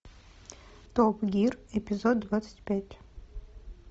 топ гир эпизод двадцать пять